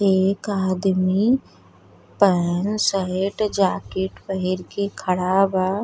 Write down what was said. एक आदमी pant shirt jacket पहिर के खड़ा बा।